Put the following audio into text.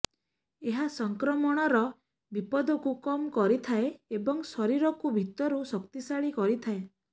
ଏହା ସଂକ୍ରମଣର ବିପଦକୁ କମ୍ କରିଥାଏ ଏବଂ ଶରୀରକୁ ଭିତରୁ ଶକ୍ତିଶାଳୀ କରିଥାଏ